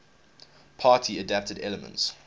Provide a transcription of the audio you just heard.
party adapted elements